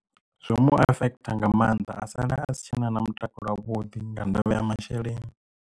Zwo mu affect nga maanḓa a sala a si tshena na mutakalo wavhuḓi nga ndavha ya masheleni.